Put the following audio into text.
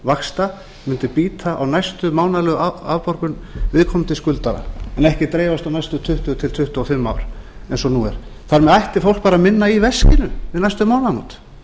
vaxta mundi bíta á næstu mánaðarlegu afborgun viðkomandi skuldara en ekki dreifast á næstu tuttugu til tuttugu og fimm ár eins og nú er þar með ætti fólk bara minna í veskinu við næstu mánaðamót